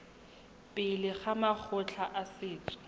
pele ga makgotla a setso